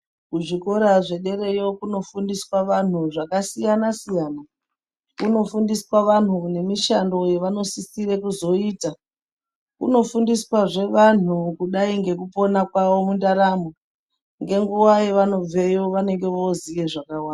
Kuzvikora zvederayo kunofundiswa vanhu zvakasiyana-siyana. Kunofundiswa vanhu nemishando yevanosisire kuzoita. Kunofundiswahe vanhu kudai ngekupona kwago mundaramo, ngenguwa yavanobveyo vanenge voziye zvakawanda.